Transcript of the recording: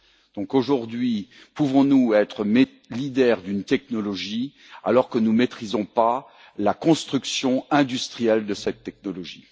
Donc aujourd'hui, pouvons nous être leader d'une technologie alors que nous ne maîtrisons pas la construction industrielle de cette technologie?